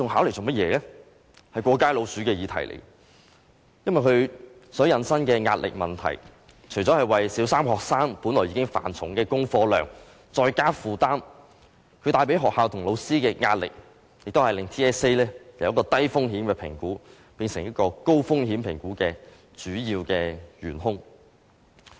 這是一個"過街老鼠"的議題，因為它引申出壓力的問題，除了為小三學生本來已經繁重的功課量再增加負擔，也為學校和老師帶來壓力，令 TSA 由一個低風險的評估，變成一個高風險評估的主要元兇。